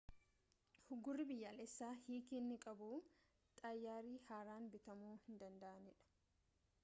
uggurri biyyaalessaa hiiki inni qabu xayyaarri haaraan bitamu hin danda'aniidha